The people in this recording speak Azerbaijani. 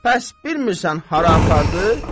Bəs bilmirsən hara apardı?